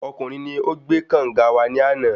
Ọkùnrin ni o gbé kànga wa ní àná